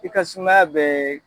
I ka sumaya bɛ